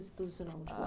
se posicionavam? Tipo